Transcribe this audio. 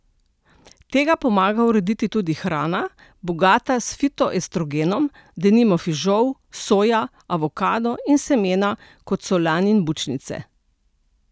Tega pomaga urediti tudi hrana, bogata s fitoestrogenom, denimo fižol, soja, avokado in semena, kot so lan in bučnice.